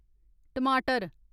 टमाटर